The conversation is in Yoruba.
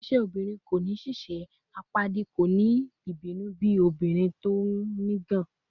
"Iṣẹ obirin ko ni ṣiṣe," "Apaadi ko ni ibinu bi obirin ti o ngàn," ati